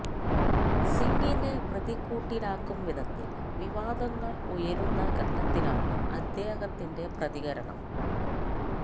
സിങിനെ പ്രതിക്കൂട്ടിലാക്കും വിധത്തിൽ വിവാദങ്ങൾ ഉയരുന്ന ഘട്ടത്തിലാണ് അദ്ദേഹത്തിന്റെ പ്രതികരണം